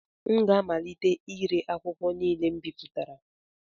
M ga-amalite ire akwụkwọ niile m bipụtara